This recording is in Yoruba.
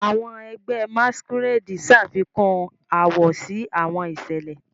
Awọn ẹgbẹ Masquerade ṣafikun awọ si awọn iṣẹlẹ.